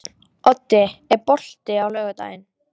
Oddi, er bolti á laugardaginn?